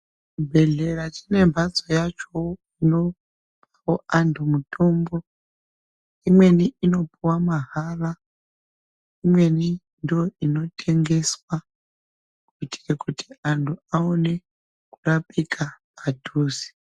Chibhehleya chine mbatso yachowo inopuwa antu mutombo. Imweni inopuwa mahala imweni ndoinotengeswa kuitire kuti antu awone kurapika padhuze.